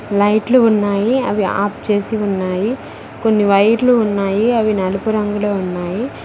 లైట్లు ఉన్నాయి అవి ఆఫ్ చేసి ఉన్నాయి కొన్ని వైర్లు ఉన్నాయి అవి నలుపు రంగులో ఉన్నాయి.